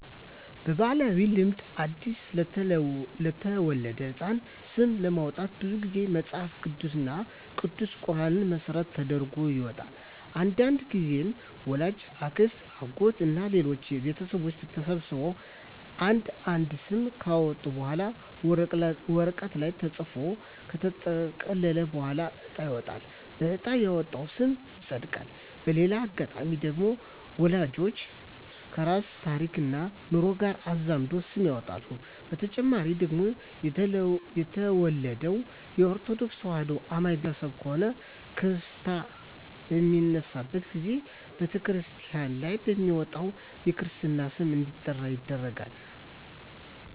በባህላዊ ልማድ አዲስ ለተወለደ ህጻን ስም ለማውጣት ብዙ ግዜ መጸሀፍ ቅዱስ እና ቅዱስ ቁራንን መሰረት ተደርጎ ይወጣል። አንዳንድግዜም ወላጅ፣ አክስት፣ አጎት እና ሌሎች ቤተሰቦች ተሰብስበው አንድ አንድ ስም ካወጡ በኋላ ወረቀት ላይ ተጽፎ ከተጠቀለለ በኋላ እጣ ይወጣል በእጣ የወጣው ስም ይጸድቃል። በሌላ አጋጣሚ ደግሞ ወላጅ ከራሱ ታሪክና ኑሮ ጋር አዛምዶ ስም ያወጣል። በተጨማሪ ደግሞ የተወለደው ከኦርተዶክ ተዋህዶ አማኝ ቤተሰብ ከሆነ ክርስታ በሚነሳበት ግዜ በተክርስቲያን ላይ በሚወጣለት የክርስትና ስም እንዲጠራ ይደረጋል።